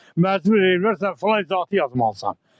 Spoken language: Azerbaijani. Məcbur eləyirlər filan izahatı yazmalısan.